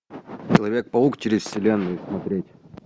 человек паук через вселенную смотреть